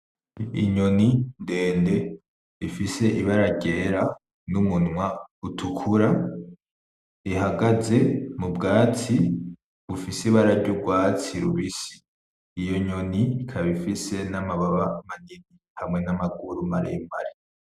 Inyoni ndende ifise Ibara ryera, n'umunwa utukura ihagaze m'ubwatsi bufise Ibara ry'urwatsi rubisi, iyo nyoni ikaba ifise n'amababa manini n'amaguru maremare.